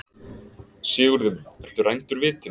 Sigurður minn, ertu rændur vitinu?